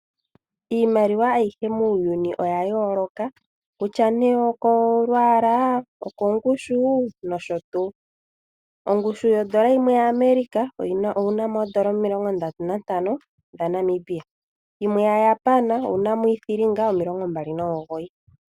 Iimaliwa ayihe muuyuni oya yooloka, kutya nee okolwaala okongushu nosho tuu. Ongushu yondola yimwe yaAmerica oyi na oondola omilongo ndatu nantano dhaNamibia. Mu yaJapan omu na iithilinga omilongo mbali nomugoyi .